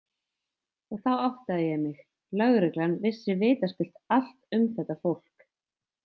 Og þá áttaði ég mig: Lögreglan vissi vitaskuld allt um þetta fólk.